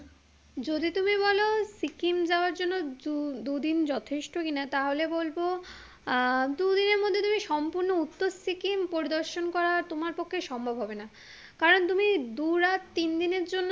যদি তুমি বলো সিকিম যাওয়ার জন্য দু দু দিন যথেষ্ট কি না তাহলে বলবো আহ দু দিনের মধ্যে তুমি সুম্পূর্ণ উত্তর সিকিম পরিদর্শন করা তোমার পক্ষে সম্ভব হবে না কারন তুমি দু রাত তিন দিনের জন্য